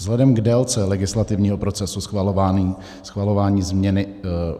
Vzhledem k délce legislativního procesu schvalování změny